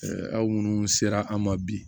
aw minnu sera an ma bi